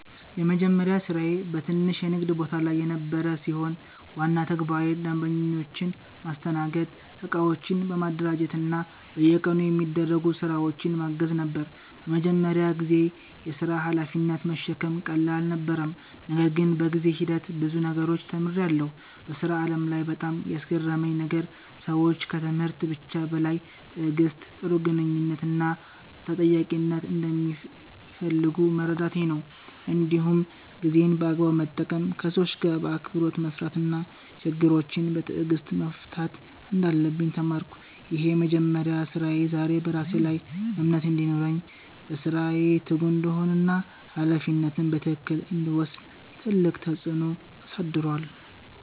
የመጀመሪያ ስራዬ በትንሽ የንግድ ቦታ ላይ የነበረ ሲሆን፣ ዋና ተግባሬ ደንበኞችን ማስተናገድ፣ እቃዎችን ማደራጀት እና በየቀኑ የሚደረጉ ስራዎችን ማገዝ ነበር። በመጀመሪያ ጊዜ የሥራ ሀላፊነትን መሸከም ቀላል አልነበረም፣ ነገር ግን በጊዜ ሂደት ብዙ ነገሮችን ተምሬያለሁ። በሥራ ዓለም ላይ በጣም ያስገረመኝ ነገር ሰዎች ከትምህርት ብቻ በላይ ትዕግሥት፣ ጥሩ ግንኙነት እና ተጠያቂነትን እንደሚፈልጉ መረዳቴ ነበር። እንዲሁም ጊዜን በአግባቡ መጠቀም፣ ከሰዎች ጋር በአክብሮት መስራት እና ችግሮችን በትዕግሥት መፍታት እንዳለብኝ ተማርኩ። ይህ የመጀመሪያ ስራዬ ዛሬ በራሴ ላይ እምነት እንዲኖረኝ፣ በስራዬ ትጉ እንድሆን እና ሀላፊነትን በትክክል እንድወስድ ትልቅ ተጽዕኖ አሳድሯል።